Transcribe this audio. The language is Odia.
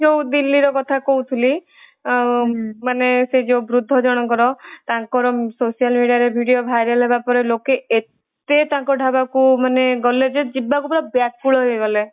ମୁଁ ଯୋଉ ଦିଲ୍ଲୀ ର କଥା କହୁଥିଲି ମାନେ ସେ ଯୋଉ ବୃଦ୍ଧ ଜଣକର ତାଙ୍କର social media ରେ video viral ହେବ ପରେ ଲୋକେ ଏତେ ତାଙ୍କ ଢାବାକୁ ମାନେ ଗଲେ ଯେ ଯିବାକୁ ପୁରା ବ୍ୟାକୁଳ ହେଇଗଲେ